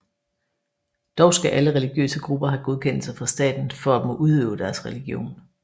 Dog skal alle religiøse grupper have godkendelse fra staten for at må udøve deres religion